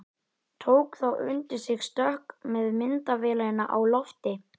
Tók þá undir sig stökk með myndavélina á lofti.